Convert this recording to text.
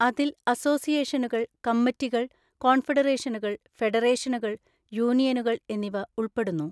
അതിൽ അസോസിയേഷനുകൾ, കമ്മിറ്റികൾ, കോൺഫെഡറേഷനുകൾ, ഫെഡറേഷനുകൾ, യൂണിയനുകൾ എന്നിവ ഉൾപ്പെടുന്നു.